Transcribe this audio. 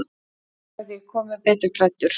Þá hefði ég komið betur klæddur.